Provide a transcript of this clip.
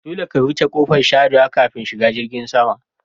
Dolle ka wuce ƙofan sharewa ƙafin shiga jirgin sama.